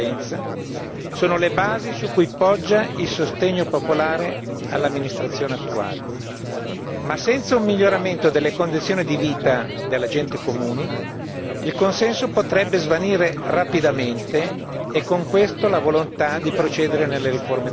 sono le basi su cui poggia il sostegno popolare all'amministrazione attuale. Ma senza un miglioramento delle condizioni di vita della gente comune, il consenso potrebbe svanire rapidamente e con questo la volontà di procedere nelle riforme democratiche.